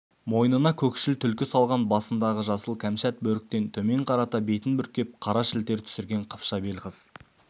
мойнына көкшіл түлкі салған басындағы жасыл кәмшат бөріктен төмен қарата бетін бүркеп қара шілтер түсірген қыпша бел қыз